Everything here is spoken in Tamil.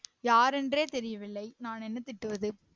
யார் என்றே தெரியவில்லை நான் என்ன திட்டுவது